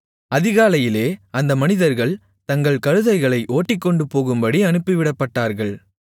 அதிகாலையிலே அந்த மனிதர்கள் தங்கள் கழுதைகளை ஓட்டிக்கொண்டுபோகும்படி அனுப்பிவிடப்பட்டார்கள்